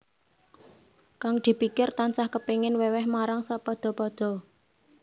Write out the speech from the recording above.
Kang dipikir tansah kepingin wèwèh marang sapadha padha